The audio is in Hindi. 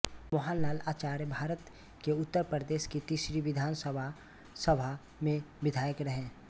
मोहन लाल आचार्यभारत के उत्तर प्रदेश की तीसरी विधानसभा सभा में विधायक रहे